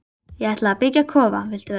Ég ætla að byggja kofa, viltu vera með?